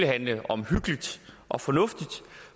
handle omhyggeligt og fornuftigt